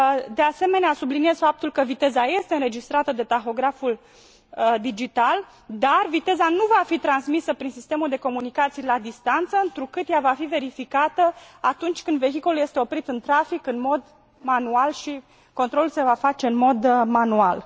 De asemenea, subliniez faptul că viteza este înregistrată de tahograful digital, dar viteza nu va fi transmisă prin sistemul de comunicații la distanță, întrucât ea va fi verificată atunci când vehiculul este oprit în trafic în mod manual și controlul se va face în mod manual.